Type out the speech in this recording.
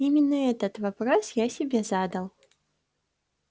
именно этот вопрос я себе задал